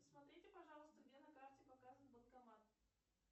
посмотрите пожалуйста где на карте показан банкомат